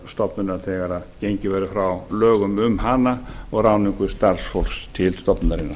stofnunar þegar gengið verður frá lögum um hana og ráðningu starfsfólks til stofnunarinnar